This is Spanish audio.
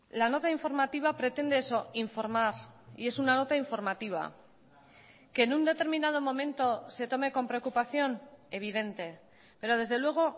la nota informativa pretende eso informar y es una nota informativa que en un determinado momento se tome con preocupación evidente pero desde luego